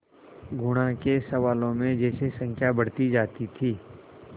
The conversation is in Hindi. गुणा के सवालों में जैसे संख्या बढ़ती जाती थी